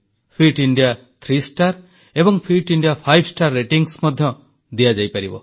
fit India three star ଏବଂ fit India five star rating ମଧ୍ୟ ଦିଆଯିବ